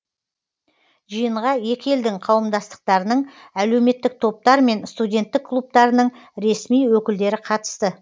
жиынға екі елдің қауымдастықтарының әлеуметтік топтар мен студенттік клубтарының ресми өкілдері қатысты